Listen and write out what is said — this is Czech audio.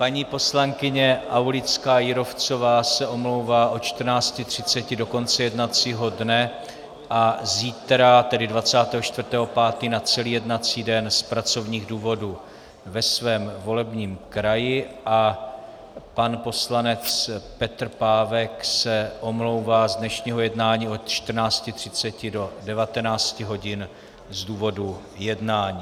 Paní poslankyně Aulická Jírovcová se omlouvá od 14.30 do konce jednacího dne a zítra, tedy 24. 5., na celý jednací den z pracovních důvodů ve svém volebním kraji a pan poslanec Petr Pávek se omlouvá z dnešního jednání od 14.30 do 19 hodin z důvodu jednání.